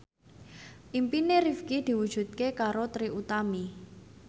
impine Rifqi diwujudke karo Trie Utami